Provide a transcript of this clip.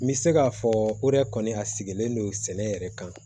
N bɛ se k'a fɔ o yɛrɛ kɔni a sigilen don sɛnɛ yɛrɛ kan